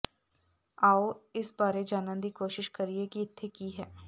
ਆਓ ਇਸ ਬਾਰੇ ਜਾਨਣ ਦੀ ਕੋਸ਼ਿਸ਼ ਕਰੀਏ ਕਿ ਇੱਥੇ ਕੀ ਹੈ